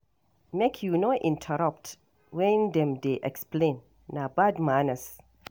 Make you no interrupt when dem dey explain, na bad manners.